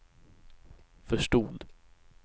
förstod